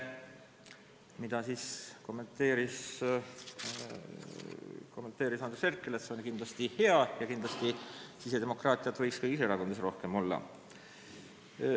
Seda kommenteerides väitis Andres Herkel, et see on kindlasti hea ja et sisedemokraatiat võiks kõigis erakondades rohkem olla.